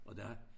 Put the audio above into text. Og der